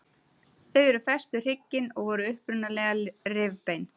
Þau eru fest við hrygginn og voru upprunalega rifbein.